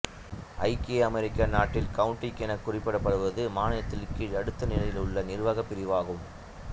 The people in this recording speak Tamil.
ஐக்கிய அமெரிக்க நாட்டில் கவுன்ட்டி எனக் குறிப்பிடப்படுவது மாநிலத்தின் கீழ் அடுத்த நிலையிலுள்ள நிர்வாகப் பிரிவு ஆகும்